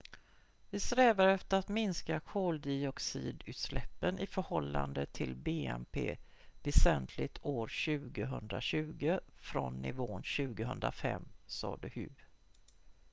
"""vi strävar efter att minska koldioxidutsläppen i förhållande till bnp väsentligt år 2020 från nivån 2005" sade hu.